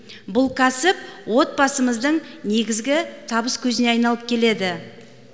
бұл кәсіп отбасымыздың негізгі табыс көзіне айналып келеді